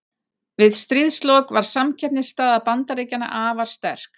Við stríðslok var samkeppnisstaða Bandaríkjanna afar sterk.